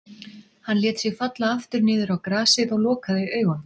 Hann lét sig falla aftur niður á grasið og lokaði augunum.